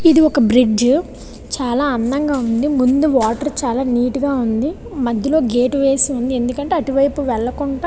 ఇది వక బ్రిడ్జి చాలా అధము గ ఉనాది. ముదు వాటర్ చాలా అధము గ ఉనాది. మధ్యలో వేలకొండ వేసారు.